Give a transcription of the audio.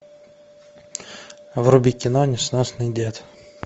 вруби кино несносный дед